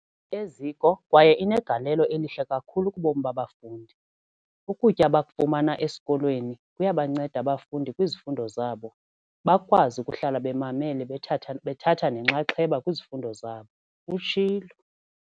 Eziko kwaye inegalelo elihle kakhulu kubomi babafundi. Ukutya abakufumana esikolweni kuyabanceda abafundi kwizifundo zabo, bakwazi ukuhlala bemamele bethatha nenxaxheba kwizifundo zabo, utshilo.